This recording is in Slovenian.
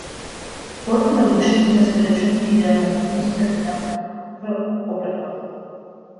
Športni navdušenci na svoj račun pridejo na bližnjih strminah v Oberstdorfu.